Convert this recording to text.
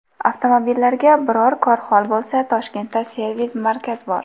Avtomobillarga biror kor-hol bo‘lsa, Toshkentda servis-markaz bor.